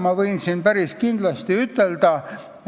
Ma võin päris kindlasti öelda seda,